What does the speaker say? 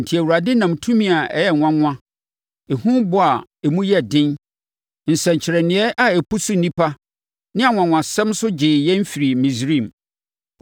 Enti, Awurade nam tumi a ɛyɛ nwanwa, ehubɔ a emu yɛ den, nsɛnkyerɛnneɛ a ɛpusu nnipa ne anwanwasɛm so gyee yɛn firii Misraim.